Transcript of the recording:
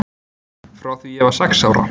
Frá því ég var sex ára.